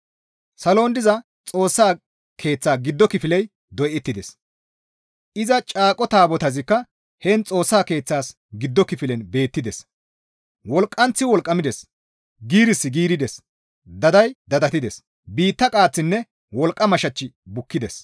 Salon diza Xoossa Keeththaa giddo kifiley doyettides; iza caaqo taabotazikka heen Xoossa keeththaas giddo kifilen beettides; wolqqanththi wolqqamides; giirissi giirides; daday dadattides; biitta qaaththinne wolqqama shachchi bukkides.